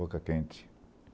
Boca-Quente.